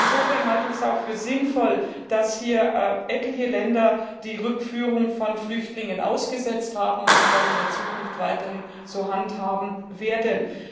Insofern halte ich es auch für sinnvoll, dass hier etliche Länder die Rückführung von Flüchtlingen ausgesetzt haben und dies auch in der Zukunft weiterhin so handhaben werden.